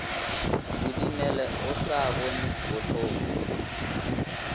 kodimele o sa bone bohloko